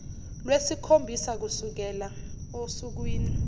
lwesikhombisa kusukela osukwini